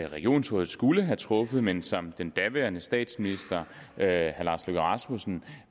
regionsrådet skulle have truffet men som den daværende statsminister herre lars løkke rasmussen